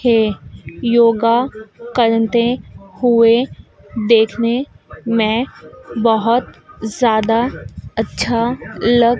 हैं योगा कंलते हुए देखने में बहोत ज्यादा अच्छा लग--